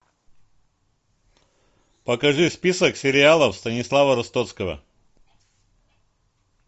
покажи список сериалов станислава ростовского